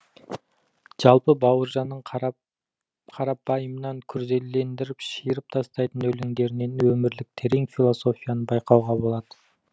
жалпы бауыржанның қарапайымнан күрделендіріп шиырып тастайтын өлеңдерінен өмірлік терең философияны байқауға болады